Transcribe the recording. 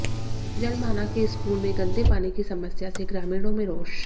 जलमाना के स्कूल में गंदे पानी की समस्या से ग्रामीणों में रोष